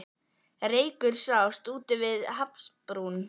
Reykur sást úti við hafsbrún, og